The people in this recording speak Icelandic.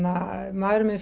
maðurinn minn